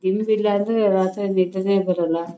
ದಿಂಬ ಇಲ್ಲ ಅಂದ್ರೆ ರಾತ್ರಿ ನಿದ್ದೆ ನೇ ಬರೋಲ್ಲ .